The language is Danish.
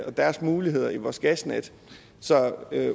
deres muligheder i vores gasnet så